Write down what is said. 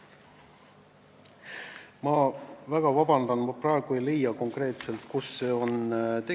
Aga jah, rahanduskomisjonis jäi kõlama eesmärk säilitada see 0,81% ehk siis tase, mis on olnud ka aasta varem.